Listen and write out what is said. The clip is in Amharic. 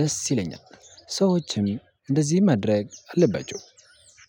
ደስ ይለኛል። ሰዎችም እንደዚህ ማድረግ አለባቸው።